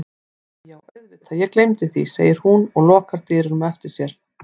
Æi já auðvitað ég gleymdi því, segir hún og lokar dyrunum á eftir sér.